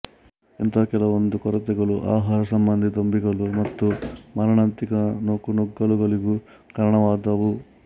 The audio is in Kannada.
ಇಂಥಾ ಕೆಲವೊಂದು ಕೊರತೆಗಳು ಆಹಾರ ಸಂಬಂಧಿ ದೊಂಬಿಗಳು ಮತ್ತು ಮಾರಣಾಂತಿಕ ನೂಕುನುಗ್ಗಲುಗಳಿಗೂ ಕಾರಣವಾದವು